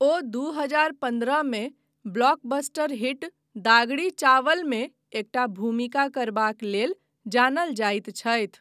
ओ दू हजार पन्द्रहमे ब्लॉकबस्टर हिट दागड़ी चावलमे एकटा भूमिका करबाक लेल जानल जाइत छथि।